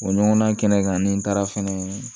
O ɲɔgɔnna kɛnɛ kan ni taara fɛnɛ